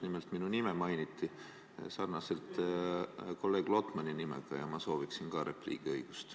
Nimelt, minu nime mainiti ja sarnaselt kolleeg Lotmaniga sooviksin ka mina repliigiks õigust.